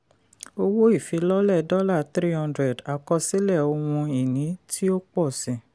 owó ìfilọ́lẹ̀ dollar three hundred àkọsílẹ̀ ohun ìní tó pọ̀ sí.